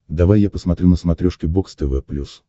давай я посмотрю на смотрешке бокс тв плюс